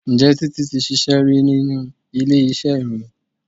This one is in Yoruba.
Ǹjẹ́ Títí ti ṣíṣe rí nínú ilé iṣẹ́ ìròyìn?